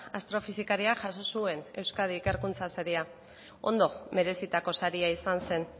astrofisikaria jaso zuen euskadi ikerkuntza saria ondo merezitako saria izan zen